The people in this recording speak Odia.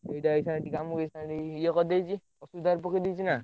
ଏଇଟା ଅଇଛା ଆମକୁ ଅଇଛା ଏବେ ଇଏ କରିଦେଇଛି, ଅସୁବିଧାରେ ପକେଇଦେଇଛି ନା।